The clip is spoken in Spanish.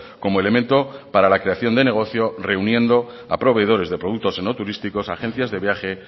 como elemento para la creación de negocio reuniendo a proveedores de productos enoturísticos agencias de viajes